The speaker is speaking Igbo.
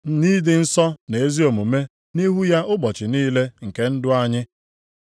Nʼịdị nsọ na ezi omume nʼihu ya ụbọchị niile nke ndụ anyị.